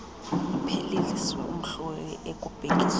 iphelisiwe umhloli ekubhekiswa